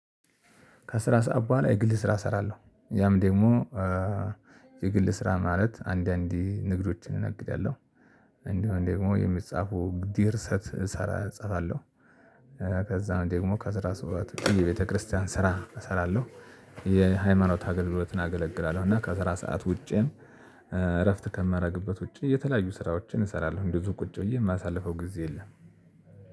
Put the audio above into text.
ከስራ ሰዓት በኋላ የግል ስራ እሰራለሁ ያም ደግሞ የግል ስራ ማለት አንዳንዴ ንግዶችን እነግዳለሁ። እንዲሁም ደግሞ የሚጻፉ ድርሰት እጽፋለሁ። ከዛን ደግሞ ከስራ ስወጣ የቤተክርስቲያን ስራ እሰራለሁ። የሃይማኖት አገልግሎትን አገለግላለሁ። እና ከስራ ሰዓት ውጪ እረፍት ከማረግበት ውጪ የተለያዩ ስራዎችን እሰራለሁ እንደዚሁ ቁጭ ብዬ የማሳልፈው ጊዜ የለም።